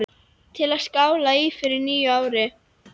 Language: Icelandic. Til að skála í fyrir nýju ári.